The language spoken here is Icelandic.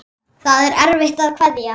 Það er erfitt að kveðja.